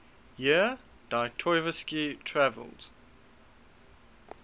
year dostoyevsky traveled